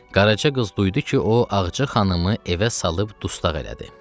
Qaraca qız duydu ki, o Ağacı xanımı evə salıb dustaq elədi.